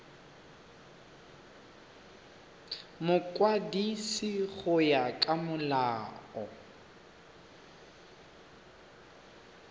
mokwadisi go ya ka molao